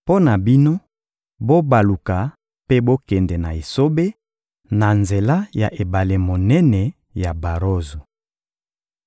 Mpo na bino, bobaluka mpe bokende na esobe, na nzela ya ebale monene ya Barozo.»